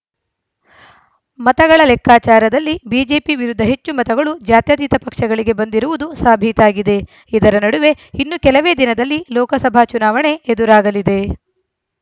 ಮತಗಳ ಲೆಕ್ಕಾಚಾರದಲ್ಲಿ ಬಿಜೆಪಿ ವಿರುದ್ಧ ಹೆಚ್ಚು ಮತಗಳು ಜಾತ್ಯತೀತ ಪಕ್ಷಗಳಿಗೆ ಬಂದಿರುವುದು ಸಾಬೀತಾಗಿದೆ ಇದರ ನಡುವೆ ಇನ್ನು ಕೆಲವೇ ದಿನದಲ್ಲಿ ಲೋಕಸಭಾ ಚುನಾವಣೆ ಎದುರಾಗಲಿದೆ